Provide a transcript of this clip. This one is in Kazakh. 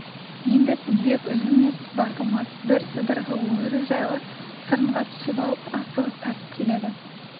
енді тізбек үзілмес-басылмас бір сыдырғы өрі жайлы сарынға түсіп алып асығыс тартып келеді